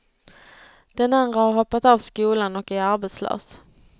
Den andra har hoppat av skolan och är arbetslös.